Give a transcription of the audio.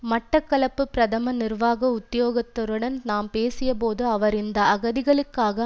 மட்டக்களப்பு பிரதம நிர்வாக உத்தியோகத்தருடன் நாம் பேசிய போது அவர் இந்த அகதிகளுக்காக